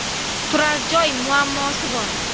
Turar joy muammosi bor.